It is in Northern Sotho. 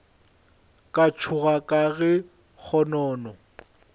ka tšhoga ka ge kgonono